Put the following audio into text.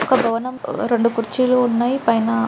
ఒక భవనం రెండు కుర్చీలు ఉన్నాయి పైన --